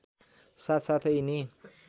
साथ साथै यिनी